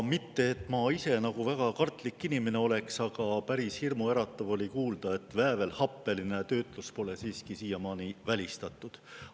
Mitte et ma ise nagu väga kartlik inimene oleks, aga päris hirmuäratav oli kuulda, et väävelhappeline töötlus pole siiski siiamaani välistatud.